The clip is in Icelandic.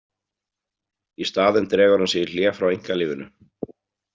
Í staðinn dregur hann sig í hlé frá einkalífinu.